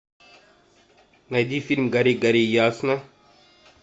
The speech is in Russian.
найди фильм гори гори ясно